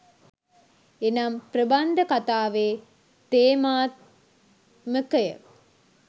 එනම් ප්‍රබන්ධ කතාවේ තේමාත්මකය